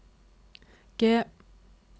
G